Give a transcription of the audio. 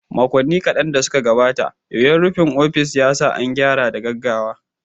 Makonni kaɗan da suka gabata, yoyon rufin ofis ya sa an gyara da gaggawa.